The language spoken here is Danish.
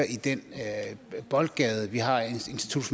i den boldgade vi har institut